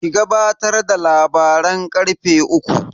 Ki gabatar da labaran karfe uku.